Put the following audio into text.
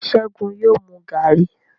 Segun yóò mú garri.